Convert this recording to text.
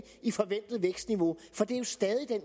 i forventet vækstniveau for det er jo stadig det